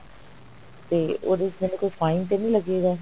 ਤੇ ਉਹਦੇ ਵਿੱਚ ਮੈਨੂੰ ਕੋਈ fine ਤੇ ਨਹੀਂ ਲੱਗੇਗਾ